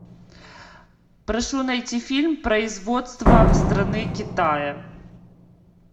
прошу найти фильм производства страны китая